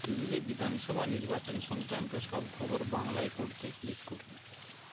দিল্লি বিধানসভা নির্বাচন সংক্রান্ত সব খবর বাংলায় পড়তে ক্লিক করুন